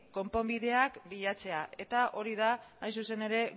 konponbideak bilatzea eta hori da hain zuzen ere